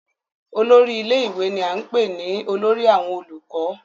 olórí ilé ìwé ni à ń pè ní olórí àwọn olùkọ́